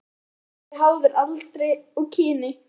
Blóðþrýstingur er háður aldri og kyni.